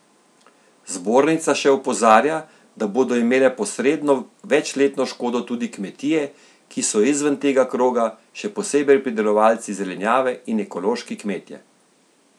Zbornica še opozarja, da bodo imele posredno večletno škodo tudi kmetije, ki so izven tega kroga, še posebej pridelovalci zelenjave in ekološki kmetje.